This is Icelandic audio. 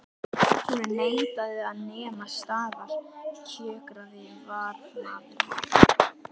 Hún neitaði að nema staðar kjökraði varðmaðurinn.